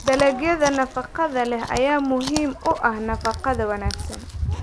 Dalagyada nafaqada leh ayaa muhiim u ah nafaqada wanaagsan.